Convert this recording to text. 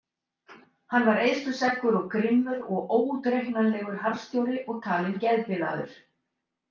Hann var eyðsluseggur og grimmur og óútreiknanlegur harðstjóri og talinn geðbilaður.